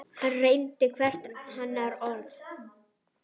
Hann reyndi hvert hennar orð.